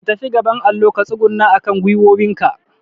ka fita gaban allo ka tsuguna akan gwiwowin ka